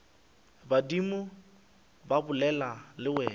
badimo ba bolela le wena